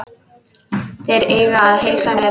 Þeir eiga að heilsa mér.